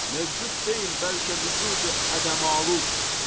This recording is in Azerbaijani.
Mövcud deyil, bəlkə vücudu ədəmalud.